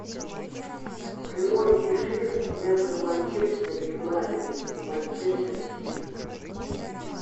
прямой эфир между манчестер юнайтед и манчестер сити